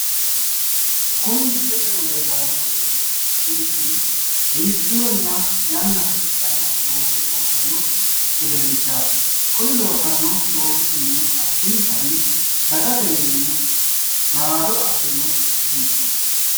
Kuni misilete aana lellano wedelichi addinitanni biifinonna yanna hasidhanno looso loosanno wedelichaat kuni loosanno loosisinni addinitani dagatewiini naado afirino beettoot